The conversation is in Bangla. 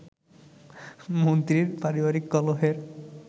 মন্ত্রীর পারিবারিক কলহের